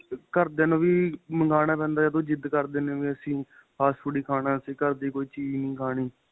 ਘਰਦਿਆਂ ਨੂੰ ਵੀ ਮੰਗਾਣਾ ਪੈਂਦਾ ਏ ਜਦੋਂ ਜਿੱਦ ਕਰਦੇ ਨੇ ਵੀ ਅਸੀਂ fast food ਏ ਖਾਣਾ ਕੋਈ ਘਰ ਦੀ ਚੀਜ ਨਹੀਂ ਖਾਣੀ